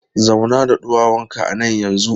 Zauna da ɗuwawunka a nan yanzu!